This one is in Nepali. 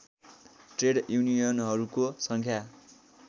ट्रेड युनियनहरूको सङ्ख्या